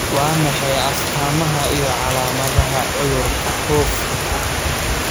Waa maxay calaamadaha iyo calaamadaha cudurka Hooft?